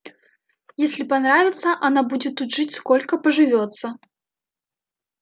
если понравится она будет тут жить сколько поживётся